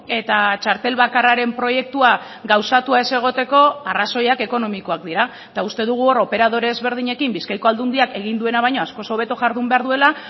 eta txartel bakarraren proiektua gauzatua ez egoteko arrazoiak ekonomikoak dira eta uste dugu hor operadore ezberdinekin bizkaiko aldundiak egin duena baino askoz hobeto jardun behar duela